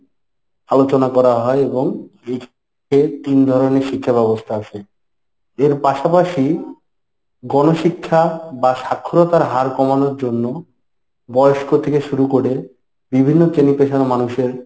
আলোচনা করা হয় এবং এই তিন ধরনের শিক্ষাব্যবস্থা আছে। এর পাশাপাশি গণশিক্ষা বা স্বাক্ষরতার হার কমানোর জন্য বয়স্ক থেকে শুরু করে বিভিন্ন চেনি পেশার মানুষের